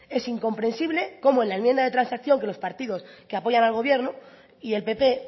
es incomprensible cómo en la enmienda de transacción que los partidos que apoyan al gobierno y el pp